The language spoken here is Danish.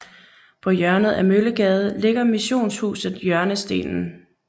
På hjørnet af Møllegade ligger missionshuset Hjørnestenen